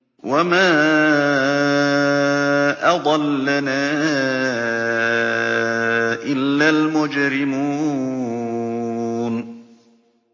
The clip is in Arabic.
وَمَا أَضَلَّنَا إِلَّا الْمُجْرِمُونَ